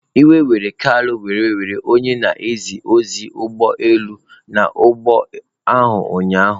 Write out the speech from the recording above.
Iwe were Kalu were were onye na-eje ozi ụgbọ elu nọ n'ụgbọ ahụ ụnyahụ.